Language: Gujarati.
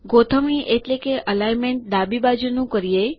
ગોઠવણી એલાઇનમેંટ ડાબી બાજુની કરીએ